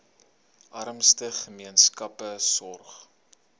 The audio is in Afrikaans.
armste gemeenskappe sorg